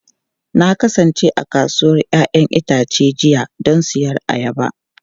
Na kasance a kasuwar 'ya'yan itace jiya don siyan ayaba.